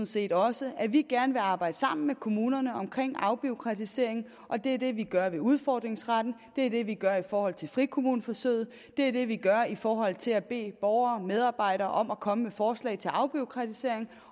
set også at vi gerne vil arbejde sammen med kommunerne om afbureaukratisering og det er det vi gør med udfordringsretten det er det vi gør i forhold til frikommuneforsøget det er det vi gør i forhold til at bede borgere og medarbejdere om at komme med forslag til afbureaukratisering